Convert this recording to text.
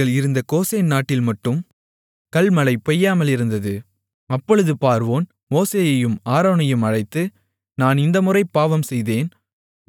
அப்பொழுது பார்வோன் மோசேயையும் ஆரோனையும் அழைத்து நான் இந்தமுறை பாவம் செய்தேன் யெகோவா நீதியுள்ளவர் நானும் என்னுடைய மக்களும் துன்மார்க்கர்கள்